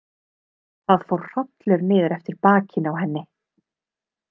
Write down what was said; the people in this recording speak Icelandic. Það fór hrollur niður eftir bakinu á henni.